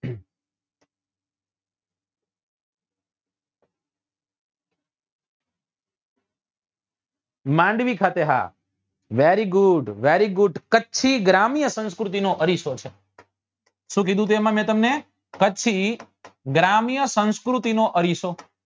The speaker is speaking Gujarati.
માંડવી ખાતે હા very good very good Kutchi ગ્રામીય સંસ્કૃતિ નો અરીસો છે શું કીધું હતું એમાં મેં તમને કચ્છી ગ્રામીય સંસ્કૃતિ નો અરીસો